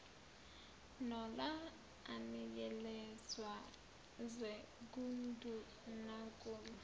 nola anikezelwe ngundunankulu